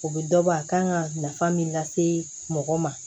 O bɛ dɔ bɔ a kan ka nafa min lase mɔgɔ ma